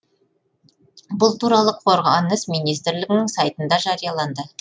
бұл туралы қорғаныс министрлігінің сайтында жарияланды